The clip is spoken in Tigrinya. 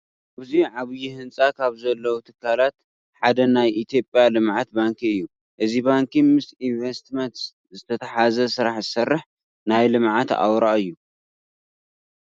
ኣብዚ ዓብዪ ህንፃ ካብ ዘለዉ ትካላት ሓደ ናይ ኢትዮጵያ ልምዓት ባንኪ እዩ፡፡ እዚ ባንኪ ምስ ኢንቨስትመንት ዝተተሓሓዘ ስራሕ ዝሰርሕ ናይ ልምዓት ኣውራ እዩ፡፡